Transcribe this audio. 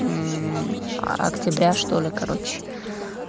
октября что-ли короче